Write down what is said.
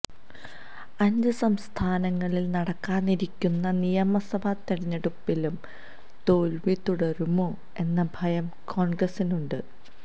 അഞ്ച് സംസ്ഥാനങ്ങളിൽ നടക്കാനിരിക്കുന്ന നിയമസഭാ തെരഞ്ഞെടുപ്പിലും തോൽവി തുടരുമോ എന്ന ഭയം കോൺഗ്രസിനുണ്ട്